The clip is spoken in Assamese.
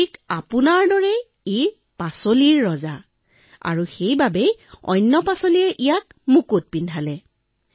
প্ৰভু আপোনাৰ দৰে এইবিধ শাকপাচলিৰ ৰজা আৰু সেইবাবে বাকীবোৰ শাকপাচলিয়ে বেঙেনাক মুকুট পিন্ধাইছে